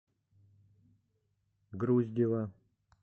груздева